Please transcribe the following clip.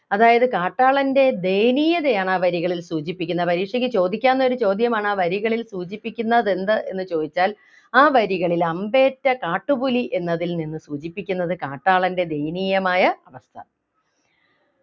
അതായത് കാട്ടാളൻ്റെ ദയനീയതയാണ് ആ വരികളിൽ സൂചിപ്പിക്കുന്നത് പരീക്ഷയ്ക്ക് ചോദിക്കാവുന്ന ഒരു ചോദ്യമാണ് ആ വരികളിൽ സൂചിപ്പിക്കുന്നതെന്ത് എന്ന് ചോദിച്ചാൽ ആ വരികളിൽ അമ്പേറ്റ കാട്ടുപുലി എന്നതിൽ നിന്ന് സൂചിപ്പിക്കുന്നത് കാട്ടാളൻ്റെ ദയനീയമായ അവസ്ഥ